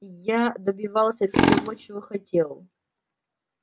я добивался всего чего хотел